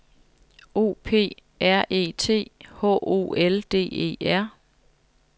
O P R E T H O L D E R